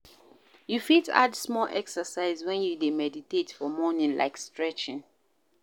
You fit add small exercise when you dey meditate for morning like stretching